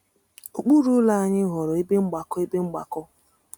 Okpuru ụlọ anyị ghọrọ ebe mgbakọ. ebe mgbakọ.